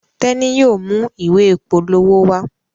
Teni yóò mú ìwé ìpolówó wá.